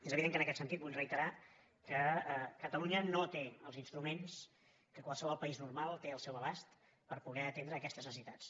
és evident que en aquest sentit vull reiterar que catalunya no té els instruments que qualsevol país normal té al seu abast per poder atendre aquestes necessitats